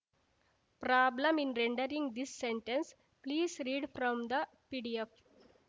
problem in rendering this sentence please read from from the PDF